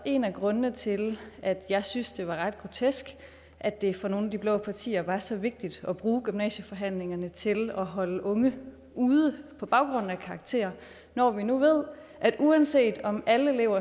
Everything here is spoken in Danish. en af grundene til at jeg synes det var ret grotesk at det for nogle af de blå partier var så vigtigt at bruge gymnasieforhandlingerne til at holde unge ude på baggrund af karakterer når vi nu ved at uanset om alle elever